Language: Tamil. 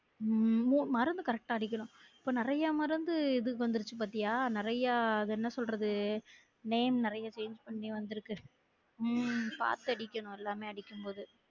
உம் மு மருந்து correct ஆ அடிக்கணும் இப்போ நிறைய மருந்து இது வந்துரிச்சு பாத்தியா நிறையா அது என்ன சொல்றது name நிறையா change பன்னி வந்திருக்கு உம் பார்த்து அடிக்கணும் எல்லாமே அடிக்கும் போது